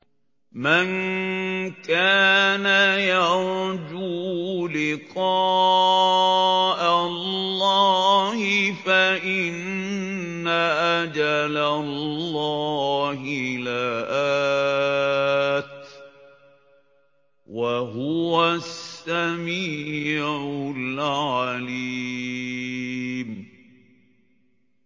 مَن كَانَ يَرْجُو لِقَاءَ اللَّهِ فَإِنَّ أَجَلَ اللَّهِ لَآتٍ ۚ وَهُوَ السَّمِيعُ الْعَلِيمُ